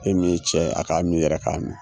E min ye cɛ a k'a min yɛrɛ k'a